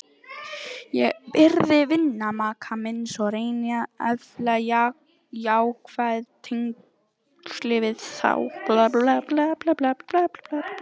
Ég virði vini maka míns og reyni að efla jákvæð tengsl við þá.